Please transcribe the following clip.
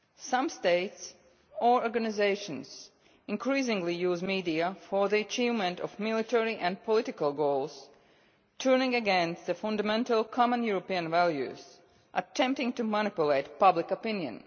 Some states or organisations increasingly use the media for the achievement of military and political goals, turning against the fundamental common European values, attempting to manipulate public opinion.